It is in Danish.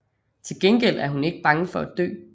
Tilgengæld er hun ikke bange for at dø